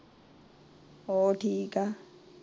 ਹੋਰ ਠੀਕ ਏ, ਠੀਕ ਠਾਕ, ਹੋਰ ਹੁਣ ਦੇ ਏ।